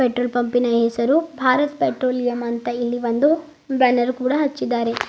Petrol ಪಂಪಿನ ಹೆಸರು Bharat Petroleum ಅಂತ ಇಲ್ಲಿ ಒಂದು ಬ್ಯಾನರ್ ಕೂಡ ಹಚ್ಚಿದ್ದಾರೆ.